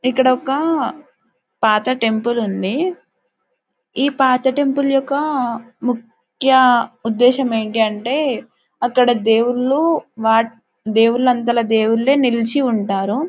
ఇక్కడ ఒక పాత టెంపుల్ ఉంది. ఈ పాత టెంపుల్ యొక్క ముఖ్యయుద్ధషం ఏంటి అంటే అక్కడ దేవుళ్ళు వాళ్ళు దేవుళ్ళు అంతాట దేవుళ్ళు నిలిచి ఉంటారు.